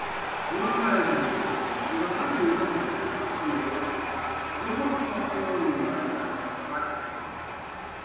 Nyua maaĩ maingĩ thutha wa gwĩka maũndũ ma kũnogora mwĩrĩ nĩguo ũcokererũo nĩ maĩ marĩa watigĩte.